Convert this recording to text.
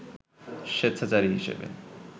স্বেচ্ছাচারী হিসেবে